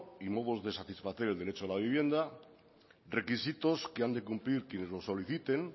y modos de satisfacción del derecho a la vivienda requisitos que han de cumplir quienes lo soliciten